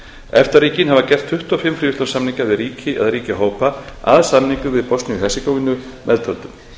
efta ríkin hafa gert tuttugu og fimm fríverslunarsamninga við ríki eða ríkjahópa að samningnum við bosníu og hersegóvínu meðtöldum